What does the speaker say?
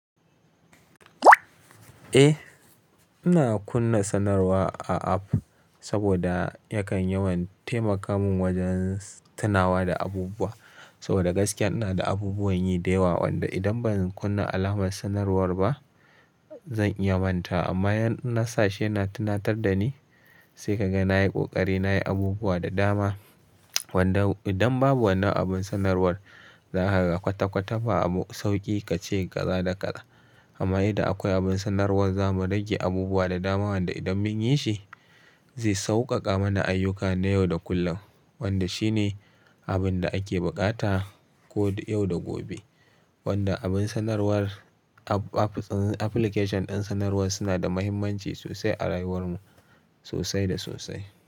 Eh, ina kunna sanarwa a app saboda yakan yawan taimakaman wajen tunawa da abubuwa. Saboda gaskiya ina da abubuwan yi da yawa wanda idan ban kunna alamar sanarwar ba zan iya manta. Amma yana sashi yana tunatar da ni sai kaga nayi ƙoƙari nayi abubuwa da dama. Wanda idan babu wannan abin sanarwar za a ga kwata-kwata ba sauƙi kace kaza da kaza. Amma idan akwai abin sanarwar za mu rage abubuwa da dama wanda idan mun yi shi zai sauƙaƙa mana ayyuka na yau da kullum. Wanda shi ne abin da ake buƙata ko yau da gobe. Wanda abun sanarwar app, application din sanarwar suna da mahimmanci sosai a rayuwarmu sosai da sosai.